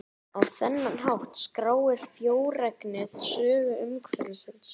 Á þennan hátt skráir frjóregnið sögu umhverfisins.